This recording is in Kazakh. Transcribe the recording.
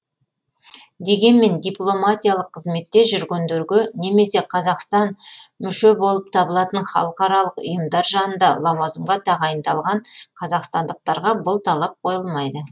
дегенмен дипломатиялық қызметте жүргендерге немесе қазақстан мүше болып табылатын халықаралық ұйымдар жанында лауазымға тағайындалған қазақстандықтарға бұл талап қойылмайды